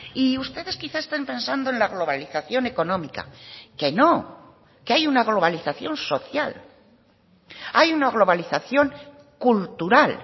y ustedes quizás estén pensando en la globalización económica que no que hay una globalización social hay una globalización cultural